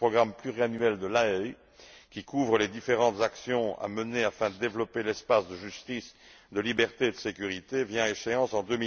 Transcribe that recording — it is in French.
Le programme pluriannuel de La Haye, qui couvre les différentes actions à mener afin de développer l'espace de justice, de liberté et de sécurité, vient à échéance en